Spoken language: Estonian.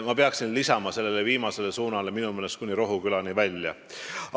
Ma peaksin lisama sellest viimasest suunast rääkides, et minu meelest kuni Rohukülani välja.